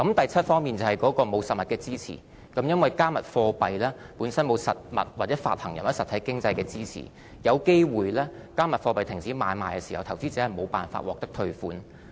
第七方面是沒有實物支持，因為"加密貨幣"本身沒有實物、發行人或實體經濟的支持，"加密貨幣"停止買賣時，投資者有機會無法獲得退款。